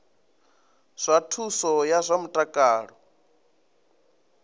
zwa thuso ya zwa mutakalo